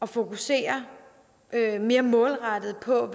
fokusere mere målrettet på